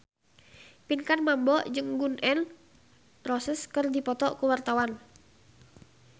Pinkan Mambo jeung Gun N Roses keur dipoto ku wartawan